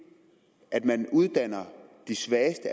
at man uddanner de svageste